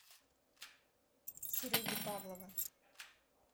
сереги павлова